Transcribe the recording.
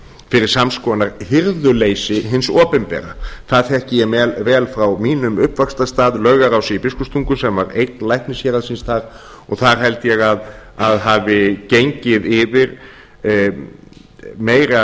fyrir sams konar hirðuleysi hins opinbera það þekki ég vel frá mínum uppvaxtarstað laugarási í biskupstungum sem var eign læknishéraðsins þar og þar held ég að hafi gengið yfir meira